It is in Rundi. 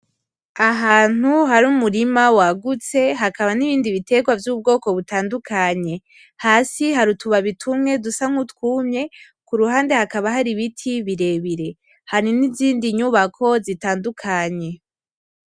Ahantu hari umurima wagutse hakaba n'ibindi bitegwa vy'ubwoko butandukanye hasi hari utubabi tumwe dusa nkutumye kuruhande hakaba hari ibiti birebire hakaba n'izindi nyubako zitandukanye.